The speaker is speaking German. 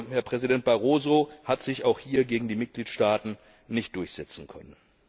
Herr Präsident Barroso hat sich auch hier gegen die Mitgliedstaaten nicht durchsetzen können!